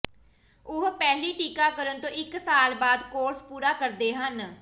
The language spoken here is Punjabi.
ਉਹ ਪਹਿਲੀ ਟੀਕਾਕਰਣ ਤੋਂ ਇਕ ਸਾਲ ਬਾਅਦ ਕੋਰਸ ਪੂਰਾ ਕਰਦੇ ਹਨ